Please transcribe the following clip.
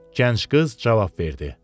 Gənc qız cavab verdi.